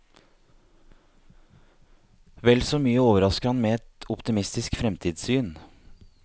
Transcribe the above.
Vel så mye overrasker han med et optimistisk fremtidssyn.